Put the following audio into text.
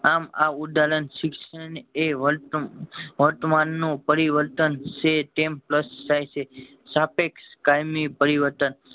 આમ આ ઉદાહરણ શિક્ષણ એ વર્ત વર્તમાન નું પરિવર્તન છે તેમ થાય છે સાપેક્ષ કાયમી પરિવર્તન